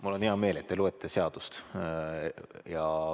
Mul on hea meel, et te loete seadust.